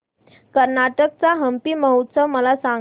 कर्नाटक चा हम्पी महोत्सव मला सांग